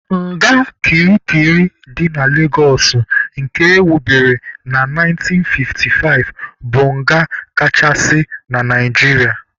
Nga kirikiri dị na Legosụ nke ewubere na 1955 bụ nga kachasị na Naijiria.